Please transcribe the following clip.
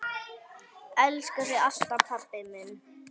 Elska þig alltaf, pabbi minn.